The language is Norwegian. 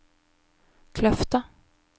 Kløfta